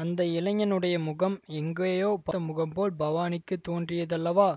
அந்த இளைஞனுடைய முகம் எங்கேயோ பார்த்த முகம் போல் பவானிக்குத் தோன்றியதல்லவா